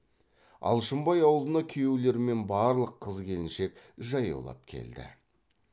алшынбай аулына күйеулер мен барлық қыз келіншек жаяулап келді